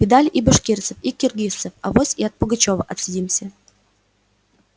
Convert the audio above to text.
видали и башкирцев и киргизцев авось и от пугачёва отсидимся